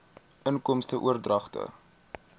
inkomste oordragte